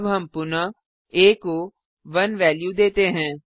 अब हम पुनः आ को 1 वेल्यू देते हैं